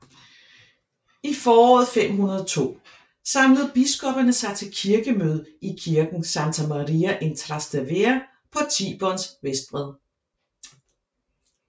I foråret 502 samlede biskopperne sig til kirkemøde i kirken Santa Maria in Trastevere på Tiberens vestbred